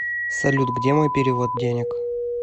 салют где мой перевод денег